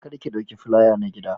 Kar ki dauki filaya na gida.